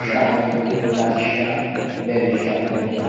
shaani latishsha leellishshanno yaate.